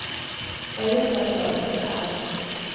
Vi har gjort dette åpent og ærlig.